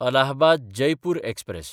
अलाहबाद–जयपूर express